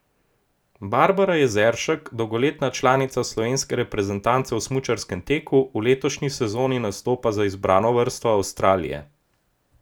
Barbara Jezeršek, dolgoletna članica slovenske reprezentance v smučarskem teku, v letošnji sezoni nastopa za izbrano vrsto Avstralije.